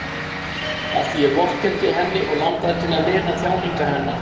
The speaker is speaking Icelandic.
Af því ég vorkenndi henni og langaði til að lina þjáningar hennar.